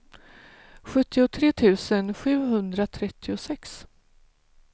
sjuttiotre tusen sjuhundratrettiosex